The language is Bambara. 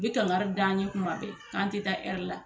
Bi kankari d'an ye kuma bɛɛ k'an tɛ taa la